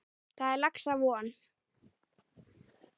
Þar er laxa von.